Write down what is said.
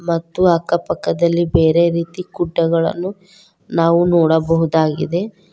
ಮತ್ತು ಅಕ್ಕ ಪಕ್ಕದಲ್ಲಿ ಬೇರೆ ರೀತಿ ಗುಡ್ಡಗಳನ್ನು ನಾವು ನೋಡಬಹುದುದಾಗಿದೆ.